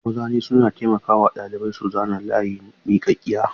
Mazani suna taimaka wa ɗalibai su zana layi miƙaƙƙiya.